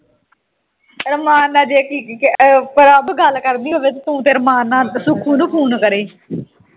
ਰਮਾਣ ਨਾਲ ਜੇ ਅਹ prabh ਗੱਲ ਕਰਦੀ ਹੋਵੇ ਤੇ ਤੂੰ ਤੇ ਰਮਾਣ ਨਾਲ ਸੁੱਖੂ ਨੂੰ phone ਕਰੋ